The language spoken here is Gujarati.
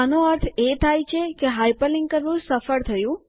આનો અર્થ એ થાય છે કે હાઇપરલિન્ક કરવું સફળ થયું